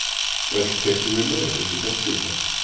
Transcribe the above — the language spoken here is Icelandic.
Öll teiknivinna er unnin af Gunnari